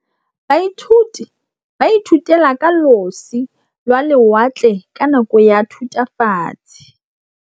Baithuti ba ithutile ka losi lwa lewatle ka nako ya Thutafatshe.